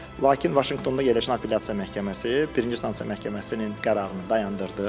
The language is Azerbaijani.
Lakin Vaşinqtonda yerləşən apellyasiya məhkəməsi birinci instansiya məhkəməsinin qərarını dayandırdı.